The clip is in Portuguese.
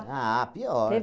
Ah, pior. Teve